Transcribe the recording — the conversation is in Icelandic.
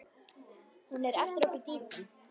Hún er eftir okkur Dídí.